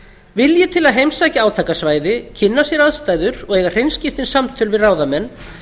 vilji til að heimsækja átakasvæði kynna sér aðstæður og eiga hreinskiptin samtöl við ráðamenn